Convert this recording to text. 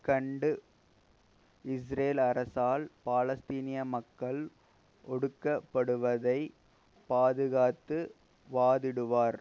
கண்டு இஸ்ரேல் அரசால் பாலஸ்தீனிய மக்கள் ஒடுக்கப்படுவதை பாதுகாத்து வாதிடுவார்